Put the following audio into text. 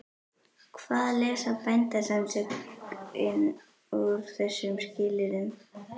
Hvað lesa Bændasamtökin úr þessum skilyrðum?